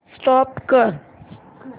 stop करा